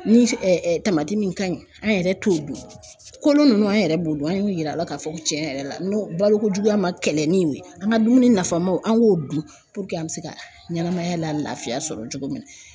Ni tamati min ka ɲi an yɛrɛ t'o dun, kolo ninnu an yɛrɛ b'o dun, an y'u yira la k'a fɔ tiɲɛ yɛrɛ la n ko balokojuguya ma kɛlɛ ni o ye an ka dumuni nafamaw an k'o dun puruke an bɛ se ka ɲɛnamaya lafiya sɔrɔ cogo min na